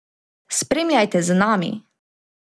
Spremljajte z nami!